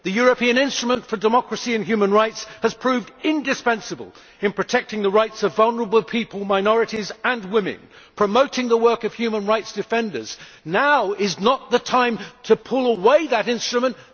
The European Instrument for Democracy and Human Rights has proved indispensable in protecting the rights of vulnerable people, minorities and women, promoting the work of human rights defenders. Now is not the time to pull away that instrument.